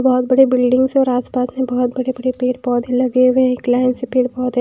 बहुत बड़े बिल्डिंग्स और आसपास में बहुत बड़े-बड़े पेड़-पौधे लगे हुए हैं एक लाइन से पेड़-पौधे--